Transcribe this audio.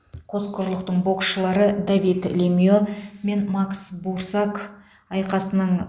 қос құрлықтың боксшылары давид лемье мен макс бурсак айқасының